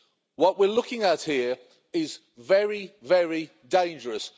What we're looking at here is very, very dangerous.